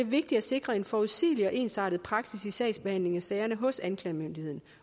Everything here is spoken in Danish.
vigtigt at sikre en forudsigelig og ensartet praksis i behandlingen af sagerne hos anklagemyndigheden